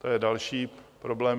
To je další problém.